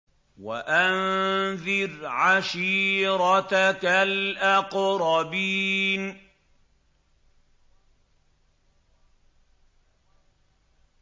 وَأَنذِرْ عَشِيرَتَكَ الْأَقْرَبِينَ